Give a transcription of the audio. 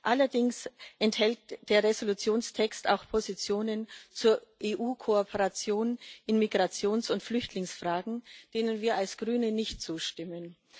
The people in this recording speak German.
Allerdings enthält der Entschließungstext auch Positionen zur EU-Kooperation in Migrations und Flüchtlingsfragen, denen wir als Grüne nicht zustimmen.